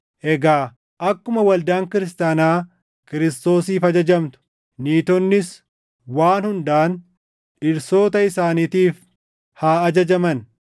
Egaa akkuma waldaan kiristaanaa Kiristoosiif ajajamtu, niitonnis waan hundaan dhirsoota isaaniitiif haa ajajaman.